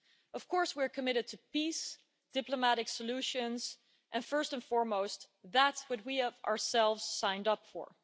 Of course, we are committed to peace, diplomatic solutions and, first and foremost, that which we ourselves have signed up for.